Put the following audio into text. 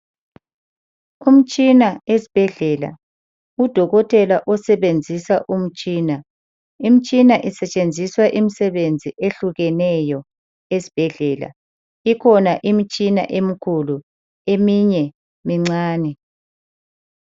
Umtshina esibhedlela. Udokotela osebenzisa umtshina. Imitshina isetshenziswa imisebenzi ehlukeneyo esibhedlela. Ikhona imitshina emikhulu eminye mincane.